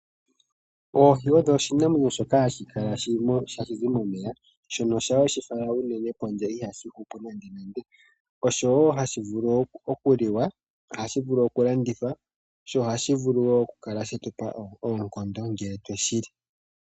Oohi odho oshinamwenyo shoka hashi kala, hashi zi momeya shono shaa weshi fala unene pondje ihashi hupu nande, osho woo hashi vulu okuli wa, hashi vulu oku landithwa, sho ohashi kala woo shina oonkondo ngele twe shili.